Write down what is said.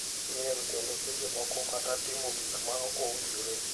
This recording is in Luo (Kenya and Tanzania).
miel kendo seche moko kata timo gik ma ok owinjore.